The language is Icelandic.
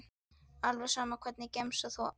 alveg sama Hvernig gemsa áttu?